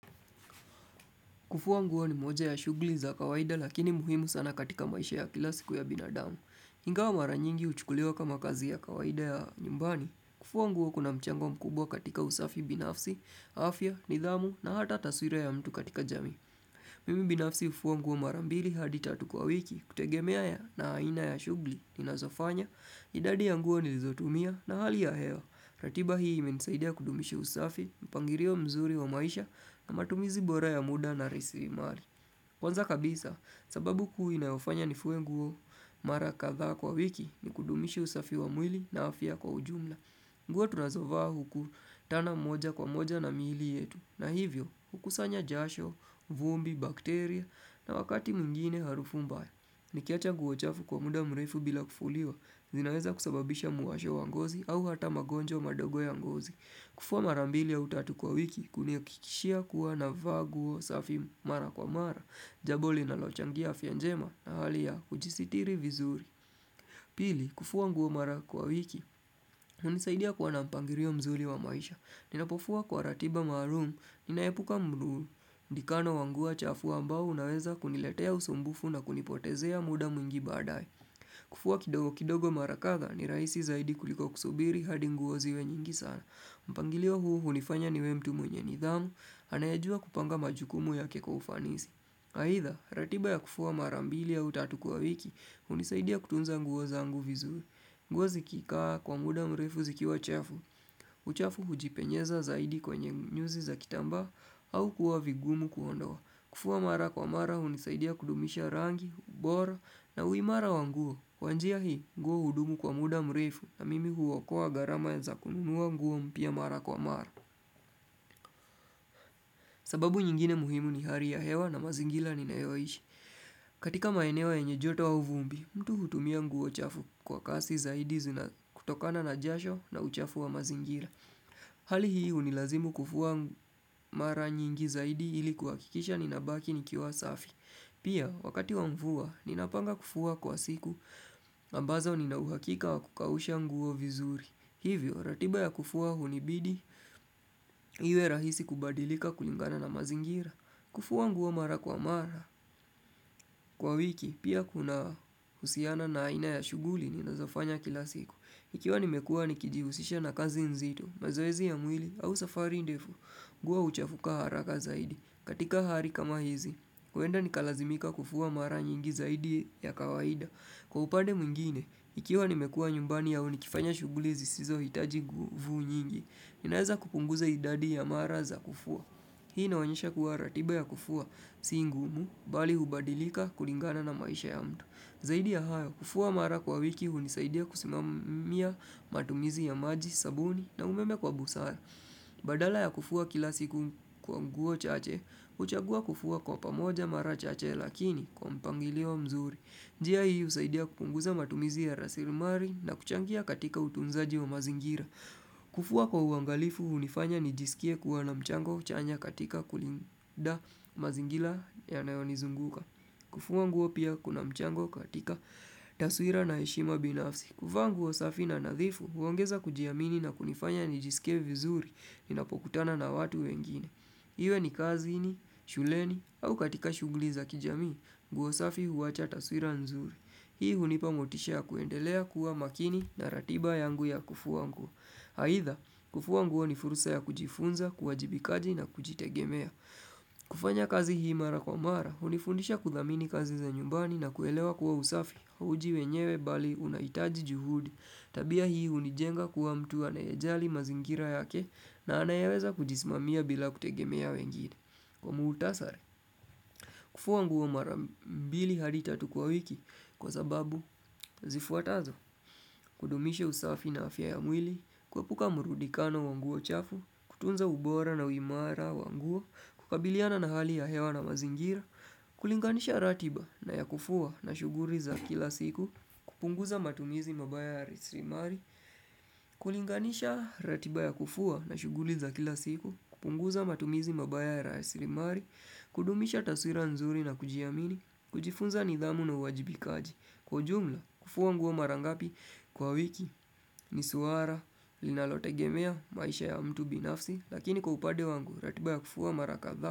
Kufua nguo ni moja ya shughli za kawaida lakini muhimu sana katika maisha ya kila siku ya binadamu. Ingawa mara nyingi uchukuliwa kama kazi ya kawaida ya nyumbani, kufua nguo kuna mchango mkubwa katika usafi binafsi, afya, nidhamu na hata taswira ya mtu katika jamii. Mimi binafsi ufua nguo marambili hadi tatu kwa wiki kutegemea ya na aina ya shugli, inazofanya, idadi ya nguo nilizotumia na hali ya hewa. Ratiba hii imenisaidia kudumishi usafi, mpangilio mzuri wa maisha na matumizi bora ya muda na rasilimali. Kwanza kabisa, sababu kuu inayofanya nifue nguo mara kadha kwa wiki ni kudumishi usafi wa mwili na afia kwa ujumla. Nguo tunazovaa hukutana mmoja kwa mmoja na miili yetu. Na hivyo, hukusanya jasho, vumbi, bakteria na wakati mwigine harufu mbaya. Nikiacha nguo chafu kwa muda mrefu bila kufuliwa, zinaweza kusababisha muasho wa ngozi au ata magonjwa madogo ya ngozi. Kufua mara mbili ya utatu kwa wiki, kunihakikishia kuwa na vaa nguo safi mara kwa mara, jambo linalochangia afia njema na hali ya ujisitiri vizuri. Pili, kufua nguo mara kwa wiki, unisaidia kwa nampangilio mzuri wa maisha. Ninapofua kwa ratiba maalum, ninaepuka mluu. Ndikano wa nguo chafu ambao unaweza kuniletea usumbufu na kunipotezea muda mwingi baabae kufua kidogo kidogo mara kadha ni rahisi zaidi kuliko kusubiri hadi nguo ziwe nyingi sana mpangilio huu unifanya niwe mtu mwenye nidhamu anayejua kupanga majukumu yake kwa ufanisi Haidha ratiba ya kufua marambili au tatu kwa wiki unisaidia kutunza nguo zangu vizuri nguo zikikaa kwa muda mrefu zikiwa chafu uchafu hujipenyeza zaidi kwenye nyuzi za kitambaa au kuwa vigumu kuondoa kufua mara kwa mara unisaidia kudumisha rangi, ubora na uimara wa nguo, kwa njia hii nguo hudumu kwa muda mrefu na mimi huokoa gharama za kununua nguo mpya mara kwa mara. Sababu nyingine muhimu ni hali ya hewa na mazingira ninayoishi. Katika maeneo yenye joto au vumbi, mtu hutumia nguo chafu kwa kasi zaidi zina kutokana na jasho na uchafu wa mazingira. Hali hii unilazimu kufua mara nyingi zaidi ili kuhakikisha ninabaki ni kiwa safi. Pia, wakati wa mvua, ninapanga kufua kwa siku, ambazao ninahuhakika wa kukausha nguo vizuri. Hivyo, ratiba ya kufua hunibidi, iwe rahisi kubadilika kulingana na mazingira. Kufua nguo mara kwa mara, kwa wiki, pia kuna husiana na aina ya shughuli ninazofanya kila siku. Ikiwa nimekuwa nikijihusisha na kazi nzito, mazoezi ya mwili, au safari ndefu, nguo uchafuka haraka zaidi. Katika hali kama hizi, huenda nikalazimika kufua mara nyingi zaidi ya kawaida. Kwa upade mwingine, ikiwa nimekuwa nyumbani au nikifanya shuguli zisizo hitaji nguvu nyingi, ninaeza kupunguza idadi ya mara za kufua. Hii inaonyesha kuwa ratiba ya kufua si ngumu, bali hubadilika kulingana na maisha ya mtu. Zaidi ya hayo, kufua mara kwa wiki hunisaidia kusimamia matumizi ya maji, sabuni, na umeme kwa busara. Badala ya kufua kila siku kwa nguo chache, uchagua kufua kwa pamoja mara chache lakini kwa mpangilio mzuri njia hii usaidia kupunguza matumizi ya rasilumali na kuchangia katika utunzaji wa mazingira kufua kwa uangalifu unifanya nijisikie kuwa na mchango chanya katika kulinda mazingira yanayonizunguka kufua nguo pia kuna mchango katika taswira na heshima binafsi kuvaa nguo safi na nadhifu, huongeza kujiamini na kunifanya nijisike vizuri ninapokutana na watu wengine. Iwe ni kazini, shuleni, au katika shughuli za kijamii, nguo safi huwacha taswira nzuri. Hii hunipa motisha ya kuendelea kuwa makini na ratiba yangu ya kufua nguo. Haidha, kufua nguo ni furusa ya kujifunza, kuwajibikaji na kujitegemea. Kufanya kazi hii mara kwa mara, hunifundisha kudhamini kazi za nyumbani na kuelewa kuwa usafi. Huji wenyewe bali unahitaji juhudi, tabia hii unijenga kuwa mtu anayejali mazingira yake na anayeweza kujisimamia bila kutegemea wengine. Kwa muktasari, kufua nguo marambili hadi tatu kwa wiki kwa sababu, zifuatazo, kudumishe usafi na afya ya mwili, kuepuka murudikano wa nguo chafu, kutunza ubora na uimara wa nguo, kukabiliana na hali ya hewa na mazingira, kulinganisha ratiba na ya kufua na shughuli za kila siku kupunguza matumizi mabaya ya resilimali kulinganisha ratiba ya kufuwa na shuguli za kila siku kupunguza matumizi mabaya ya resilimali kudumisha taswira nzuri na kujiamini kujifunza nidhamu na uwajibikaji Kwa ujumla, hufua nguo marangapi kwa wiki ni suala, linalotegemea, maisha ya mtu binafsi Lakini kwa upade wangu, ratiba ya kufua mara kadha.